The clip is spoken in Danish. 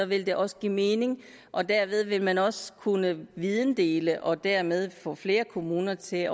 vil det også give mening og derved vil man også kunne videndele og dermed få flere kommuner til at